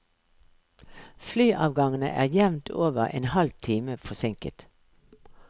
Flyavgangene er jevnt over en halvtime forsinket.